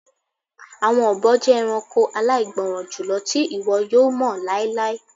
Awọn obo jẹ ẹranko alaigbọran julọ ti iwọ yoo mọ lailai